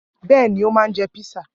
Bẹ́ẹ̀ ni, ó máa jẹ písà.